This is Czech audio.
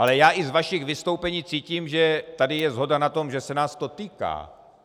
Ale já i z vašich vystoupení cítím, že tady je shoda na tom, že se nás to týká.